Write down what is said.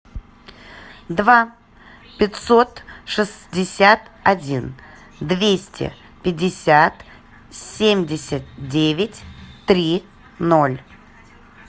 два пятьсот шестьдесят один двести пятьдесят семьдесят девять три ноль